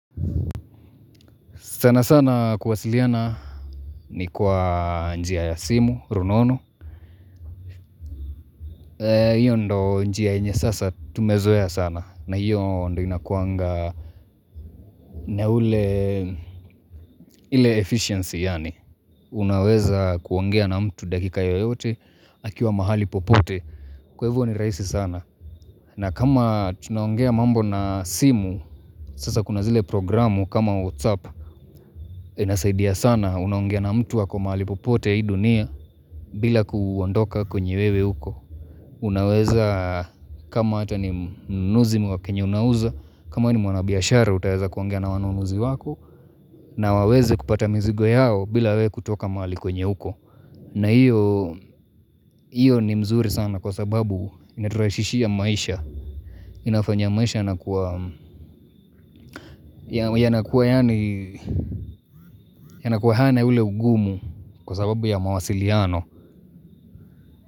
Sana sana kuwasiliana ni kwa njia ya simu, runono. Hiyo ndiyo njia yenye sasa tumezoea sana. Na hiyo ndio inakuanga na ule, ile efficiency yaani. Unaweza kuongea na mtu dakika yoyote, akiwa mahali popote. Kwa hivyo ni rahisi sana. Na kama tunaongea mambo na simu, sasa kuna zile programu kama WhatsApp. Inasaidia sana unaongea na mtu ako mahali popote hii dunia bila kuondoka kwenye wewe uko. Unaweza kama hata ni mnunuzi ni wakyenye unauza, kama wewe ni mwanabiashara utaweza kuongea na wanunuzi wako na waweze kupata mizigo yao bila wewe kutoka mahali kwenye uko. Na hiyo, hiyo ni mzuri sana kwa sababu inaturahisishia maisha. Inafanya maisha inakuwa yanakuwa hana ule ugumu kwa sababu ya mawasiliano.